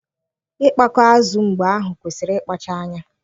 Ịkpakọ azụ mgbe ahụ kwesịrị ịkpachara anya